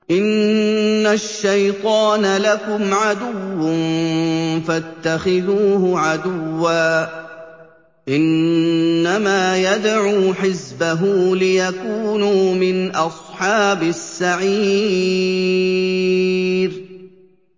إِنَّ الشَّيْطَانَ لَكُمْ عَدُوٌّ فَاتَّخِذُوهُ عَدُوًّا ۚ إِنَّمَا يَدْعُو حِزْبَهُ لِيَكُونُوا مِنْ أَصْحَابِ السَّعِيرِ